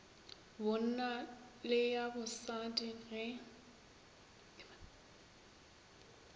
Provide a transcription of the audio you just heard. bonna le ya bosadi ge